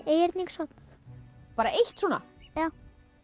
einhyrning samt bara eitt svona já